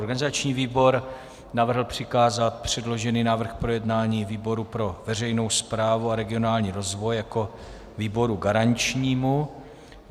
Organizační výbor navrhl přikázat předložený návrh k projednání výboru pro veřejnou správu a regionální rozvoj jako výboru garančnímu.